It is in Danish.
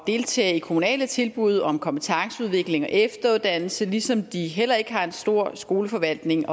deltage i kommunale tilbud om kompetenceudvikling og efteruddannelse ligesom de heller ikke har en stor skoleforvaltning